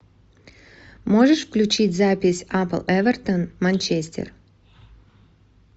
можешь включить запись апл эвертон манчестер